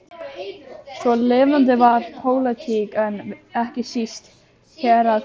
Svo lifandi var pólitík, en ekki síst héraðapólitík.